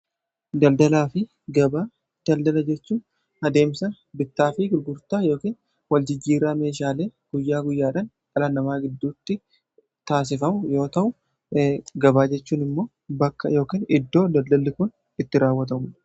Daldalaa fi gabaa, daldala jechuu adeemsa bittaa fi gurgurtaa ykn wal jijjiirraa meeshaalee guyyaa guyyaadan dhala namaa giddutti taasifu yoo ta'u gabaa jechuun immoo bakka ykn iddoo daldalli kun itti raawwatu.